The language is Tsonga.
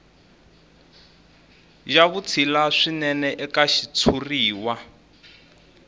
ya vutshila swinene eka xitshuriwa